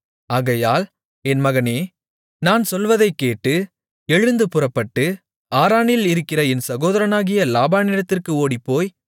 ஆகையால் என் மகனே நான் சொல்வதைக் கேட்டு எழுந்து புறப்பட்டு ஆரானில் இருக்கிற என் சகோதரனாகிய லாபானிடத்திற்கு ஓடிப்போய்